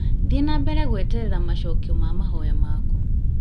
Thiĩ na mbere gweterera macokio ma mahoya maku